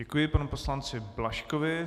Děkuji panu poslanci Blažkovi.